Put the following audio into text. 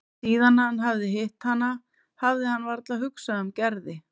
Síðan hann hafði hitt hana hafði hann varla hugsað um Gerði.